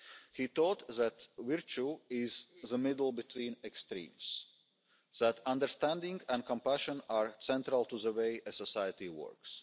He taught that virtue is the middle between extremes that understanding and compassion are central to the way a society